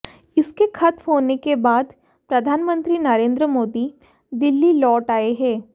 इसके खत्म होने के बाद प्रधानमंत्री नरेंद्र मोदी दिल्ली लौट आए हैं